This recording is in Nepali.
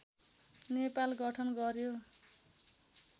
नेपाल गठन गर्‍यो